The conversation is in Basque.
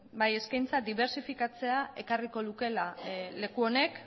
eskaintza dibertsifikatzea ekarriko lukeela leku honek